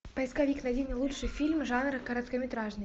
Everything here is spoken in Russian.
поисковик найди мне лучшие фильмы жанра короткометражный